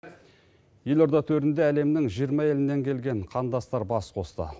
елорда төрінде әлемнің жиырма елінен келген қандастар бас қосты